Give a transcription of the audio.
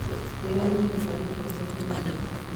kwĩyonania kwa nyũmba cia kenya nĩ rĩ